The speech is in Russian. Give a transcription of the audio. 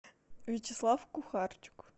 вячеслав кухарчук